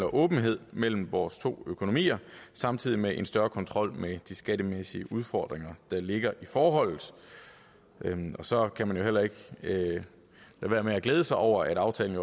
og åbenhed mellem vores to økonomier samtidig med en større kontrol med de skattemæssige udfordring der ligger i forholdet så kan man jo heller ikke lade være med at glæde sig over at aftalen